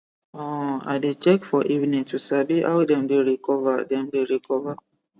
um i dey check for evening to sabi how dem dey recover dem dey recover